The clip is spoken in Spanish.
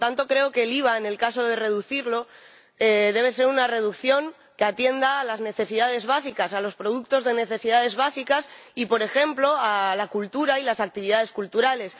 Por lo tanto, creo que el IVA, en caso de reducirlo, debe ser una reducción que atienda a las necesidades básicas, a los productos de necesidades básicas y, por ejemplo, a la cultura y las actividades culturales.